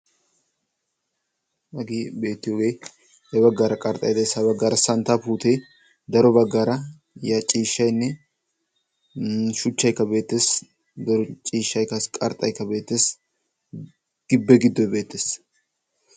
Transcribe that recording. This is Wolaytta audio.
hagee beettiyoge ya baggaara qarxxay des ha baggaara santtaa puute, daro baggaara ciishshaynne shuchchaykka beettes. daro ciishshay qassi qarxxaykka beettes. gibbe giddoy beettes.